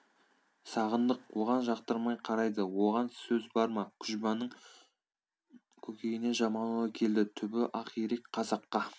сағындық оған жақтырмай қарайды оған сөз бар ма күжбанның көкейіне жаман ой келді түбі ақирек қазаққа